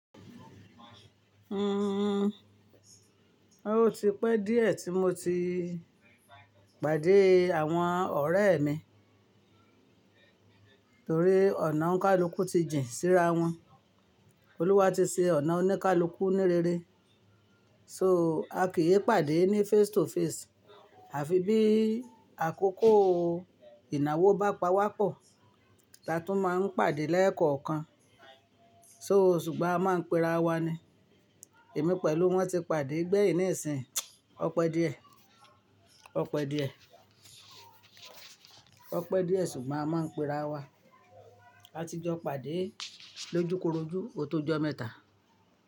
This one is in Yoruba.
Hmmm, ó ti pẹ́ di e tí mo ti pàdé àwọn ọ̀rẹ́ mi torí ọ̀nà oníkálùkù ti jìn sí ra wọn Olúwa ti ṣe ọ̀nà oníkálùkù ní rere. So, a kì í pàdé ní face to face, àfi bí àkókò ìnáwó bá pa wá pọ̀, ta tún máa ń pàdé lẹ́ẹ̀kọ̀ọ̀kan. So, ṣùgbọ́n a máa ń pera wa ni. Èmi pẹ̀lú wọn ti pàdé gbẹ́yìn nísìí, ọ̀pẹ díẹ̀, ọ̀pẹ díẹ̀, ọ̀pẹ́ díẹ̀ ṣùgbọ́n a máa ń pera wa. Látijọ́ pàdé lójúkorojú o tó jọ mẹ́ta.